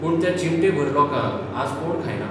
पूण त्या चिमटेभर लोकांक आज कोण खायना.